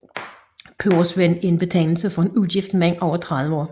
Pebersvend er en betegnelse for en ugift mand over 30 år